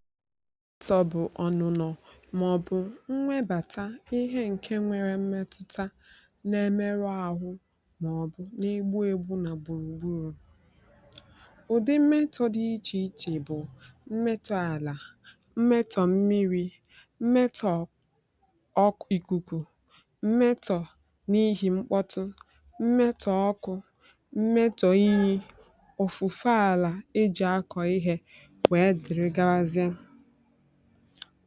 mmetọ̀ bụ̀ ọ̀nụ̀nọ̀ màọ̀bụ̀ nwebàta ihe ǹke nwere mmetụta na-emerụ āhụ̄ màọ̀bụ̀ na-egbu ēgbū nà gbùrù gburù ụ̀dị mmetọ̄ dị ichè ichè bụ̀ mmetọ̄ àlà mmetọ̀ mmirī, mmetọ̀ ọk ìkùkù mmetọ̀ n’ihì mkpọtụ, mmetọ̀ ọkụ̄ mmetọ̀ iyī, ọ̀fụ̀fa àlà ejì akọ̀ ihē wee dịrị gawazịe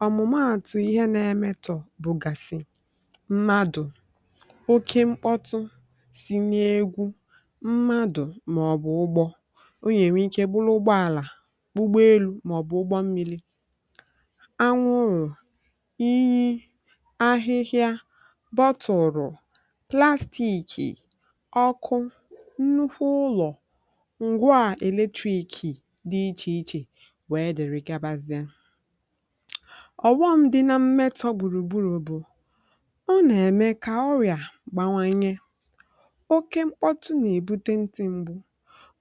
ọ̀mụ̀maàtụ̀ ihe na-emetọ̀ bụ̀gàsị̀ mmadụ̀ oke mkpọtụ si n’egwu, mmadụ̀ màọ̀bụ̀ ụgbọ ọ yà-ènwe ike bụrụ ụgbọàlà, ụgbọelū màọ̀bụ̀ ụgbọmmīlī anwụrụ̀, iyi ahịhịa bọtụ̀rụ̀ plastīìkì, ọkụ, nnukwu ụlọ̀ ǹgwaà èletrīìkì dị ichè ichè wèe dị̀rị gabazịa ọ̀wọm̄ dị na mmetọ̄ gbùrù gburù bụ̀ ọ nà-ème kà ọrị̀à gbawanye oké mkpọtụ nà-èbute ntị̄ mgbu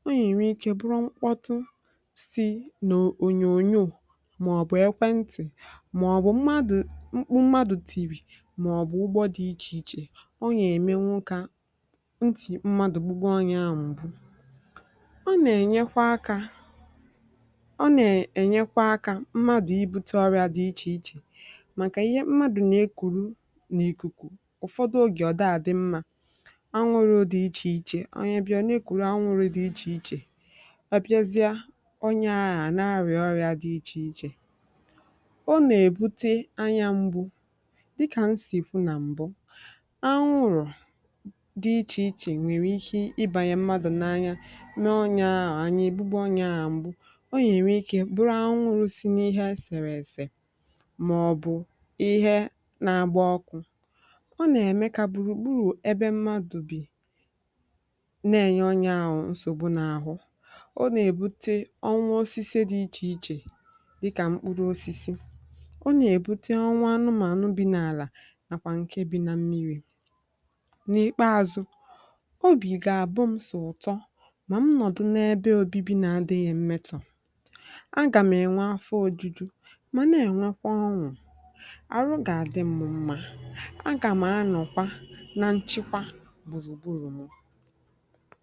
ọ yà-ènwe ikē bụrụ mkpọtụ si n’ònyò onyò màọ̀bụ̀ ekwentị̀, màọ̀bụ̀ mmadụ̀, mkpu mmadụ̀ tìrì màọ̀bụ̀ ụgbọ dị̄ ichè ichè ọ yà-èmenwu kà ntị̀ mmadụ̀ gbube onyē aà m̀gbu ọ nà-ènyekwa akā ọ nà-ènyekwa akā mmadụ̀ ibūtē ọrị̄ā dị ichè ichè màkà ihe mmadụ̀ nà-ekùru n’ìkùkù ụ̀fọdụ ogè ọ̀ daà àdị mmā anwụrụ̄ dị ichè ichè, onye bịazịa ọ̀ na-ekùru anwụrụ̄ dị ichè ichè a bịazịa onyē aà a na-arị̀à ọrị̄ā dị ichè ichè ọ nà-èbute anya m̄gbū dịkà n sì kwu nà m̀bụ, anwụrụ̀ dị ichè ichè nwèrè ike ịbànyè mmadụ̀ n’anya mee onyē aà anya ègbube onyē aà m̀gbu ọ yà-ènwe ikē bụrụ anwụrụ̄ si n’ihe esèrè èsè màọ̀bụ̀ ihe na-agba ọkụ̄ ọ nà-ème kà gbùrùgburù ebe mmadụ̀ bì na-ènye onyē ahụ̀ nsògbu n’àhụ ọ nà-èbute ọnwụ osisi dị ichè ichè dịkà mkpụrụosisi ọ nà-èbute ọnwụ anụmànụ bi n’àla nàkwà ǹke bi na mmirī n’ìkpeāzụ̄ obì gà-àbụm̄ sọ̀ ụ̀tọ mà m nọ̀dụ n’ebe obibi na-adịghị̄ mmetọ̀ agàm̀ ènwe afọ ōjūjū mà na-ènwekwa ọn̄ụ̀ àrụ gà-àdị mụ̄ mmā, agàm̀ anọ̀kwa na nchekwa gbùrùgburù mụ